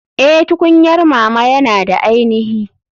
Eh tukunyar mama yana da ainihi.